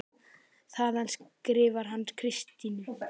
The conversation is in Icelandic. Þaðan skrifar hann Kristínu